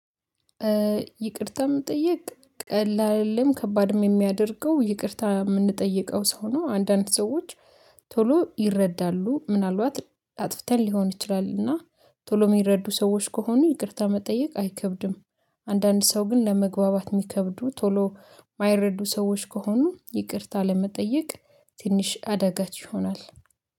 ይቅርታ መጠየቅ ቀላልም ከባድም ሚያደርገው ይቅርታ ምንጠይቀው ሰው ነው። አንዳንድ ሰዎች ቶሎ ይረዳሉ ምናልባት አጥፍተን ሊሆን ይችላልና ቶሎ ሚረዱ ሰዎች ከሆኑ ይቅርታ መጠየቅ አይከብድም። አንዳንድ ሰው ግን ለመግባባት ሚከብዱ ቶሎ ማይረዱ ሰዎች ከሆኑ ይቅርታ ለመጠየቅ ትንሽ አደጋች ይሆናል